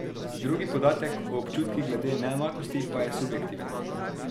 Drugi podatek, o občutkih glede neenakosti, pa je subjektiven.